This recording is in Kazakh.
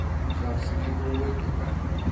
жақсы келдің ғой деді